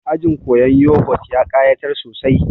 Ajin koyan yogut ya ƙayatar sosai